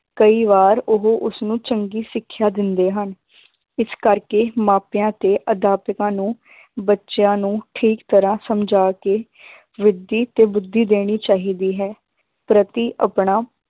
ਕਈ ਵਾਰ ਉਹ ਉਸਨੂੰ ਚੰਗੀ ਸਿੱਖਿਆ ਦਿੰਦੇ ਹਨ ਇਸ ਕਰਕੇ ਮਾਪਿਆਂ ਤੇ ਅਧਿਆਪਕਾਂ ਨੂੰ ਬੱਚਿਆਂ ਨੂੰ ਠੀਕ ਤਰ੍ਹਾਂ ਸਮਝਾ ਕੇ ਬੁੱਧੀ ਤੋਂ ਬੁੱਧੀ ਦੇਣੀ ਚਾਹੀਦੀ ਹੈ, ਪ੍ਰਤੀ ਆਪਣਾ